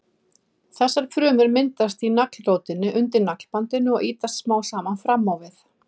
Þessar frumur myndast í naglrótinni undir naglabandinu og ýtast smám saman fram á við.